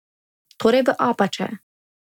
Torej v Apače.